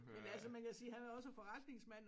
Men altså man kan sige han er også forretningsmand